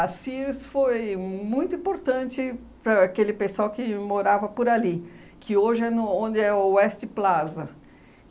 A Sears foi muito importante para aquele pessoal que morava por ali, que hoje é no onde é o West Plaza.